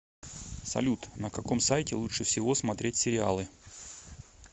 салют на каком сайте лучше всего смотреть сериалы